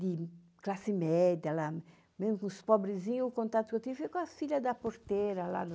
de classe média lá, mesmo com os pobrezinhos, o contato que eu tive com a filha da porteira lá.